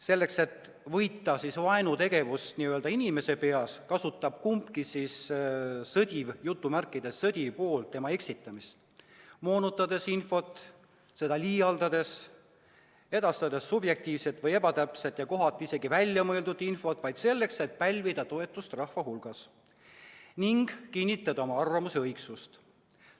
Selleks, et võita vaenutegevust n-ö inimese peas, kasutab kumbki "sõdiv pool" tema eksitamist, moonutades infot, liialdades, edastades subjektiivset või ebatäpset ja kohati isegi väljamõeldud infot vaid selleks, et pälvida toetust rahva hulgas ning kinnitada oma arvamuse õigsust.